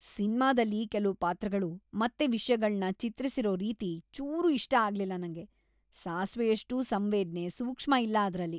ಸಿನ್ಮಾದಲ್ಲಿ ಕೆಲ್ವು ಪಾತ್ರಗಳು ಮತ್ತೆ ವಿಷ್ಯಗಳ್ನ ಚಿತ್ರಿಸಿರೋ ರೀತಿ ಚೂರೂ ಇಷ್ಟ ಆಗ್ಲಿಲ್ಲ ನಂಗೆ. ಸಾಸ್ವೆಯಷ್ಟೂ ಸಂವೇದ್ನೆ, ಸೂಕ್ಷ್ಮ ಇಲ್ಲ ಅದ್ರಲ್ಲಿ.